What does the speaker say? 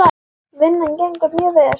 Vinnan gengur mjög vel.